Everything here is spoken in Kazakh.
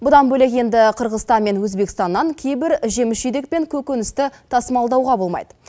бұдан бөлек енді қырғызстан мен өзбекстаннан кейбір жеміс жидек пен көкөністі тасымалдауға болмайды